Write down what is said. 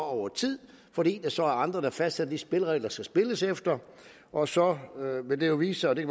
over tid fordi der så er andre der fastsætter de spilleregler der skal spilles efter og så vil det jo vise sig det